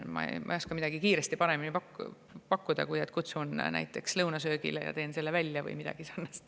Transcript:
Ma ei oska kiiresti midagi paremat pakkuda, kui et kutsun näiteks lõunasöögile ja teen selle välja või midagi sarnast.